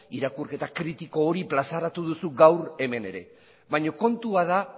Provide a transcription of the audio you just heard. irakurketa kritiko hori plazaratu duzu gaur hemen ere baina kontua da